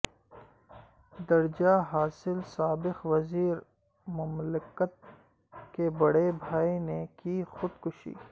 درجہ حاصل سابق وزیر مملکت کے بڑے بھائی نے کی خود کشی